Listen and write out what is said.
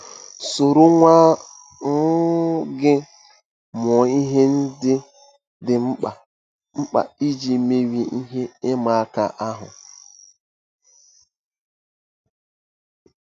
Soro nwa um gị mụọ ihe ndị dị mkpa mkpa iji merie ihe ịma aka ahụ.